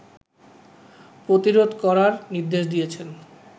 প্রতিরোধ করার নির্দেশ দিয়েছেন